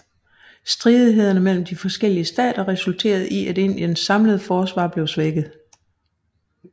Stridighederne mellem de forskellige stater resulterede i at Indiens samlede forsvar blev svækket